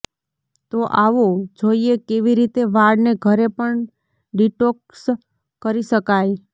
તો આવો જોઇએ કેવી રીતે વાળને ઘરે પણ ડિટોક્સ કરી શકાય